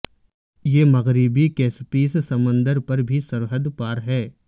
یہ مغربی کیسپیس سمندر پر بھی سرحد پار ہے